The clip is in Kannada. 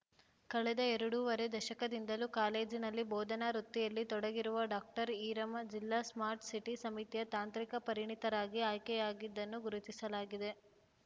ಕಳೆದ ಎರಡೂವರೆ ದಶಕದಿಂದಲೂ ಕಾಲೇಜಿನಲ್ಲಿ ಬೋಧನಾ ವೃತ್ತಿಯಲ್ಲಿ ತೊಡಗಿರುವ ಡಾಕ್ಟರ್ ಈರಮ್ಮ ಜಿಲ್ಲಾ ಸ್ಮಾರ್ಟ್‌ ಸಿಟಿ ಸಮಿತಿಯ ತಾಂತ್ರಿಕ ಪರಿಣಿತರಾಗಿ ಆಯ್ಕೆಯಾಗಿದ್ದನ್ನು ಗುರುತಿಸಲಾಗಿದೆ